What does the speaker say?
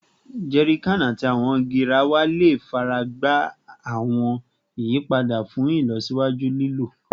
Jerrycans ati awọn garawa le faragba awọn iyipada fun ilọsiwaju lilo